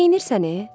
Neynisən e?